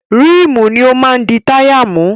Ríìmù ni ó máa di táyà mú.